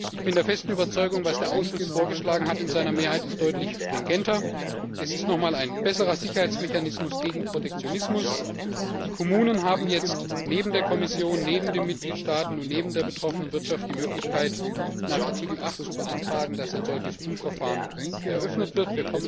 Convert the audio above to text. Ich bin der festen Überzeugung, was der Ausschuss in seiner Mehrheit vorgeschlagen hat, ist deutlich stringenter, es ist noch mal ein besserer Sicherheitsmechanismus gegen Protektionismus. Die Kommunen haben jetzt neben der Kommission, neben den Mitgliedstaaten und neben der betroffenen Wirtschaft die Möglichkeit, nach Artikel 8 zu beantragen, dass ein solches Prüfverfahren eröffnet wird.